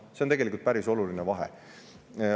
See on tegelikult päris oluline vahe.